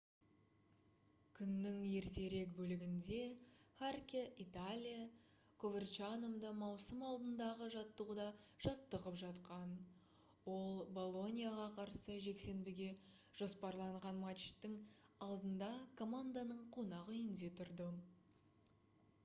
күннің ертерек бөлігінде харке италия коверчанода маусым алдындағы жаттығуда жаттығып жатқан ол болоньяға қарсы жексенбіге жоспарланған матчтың алдында команданың қонақ үйінде тұрды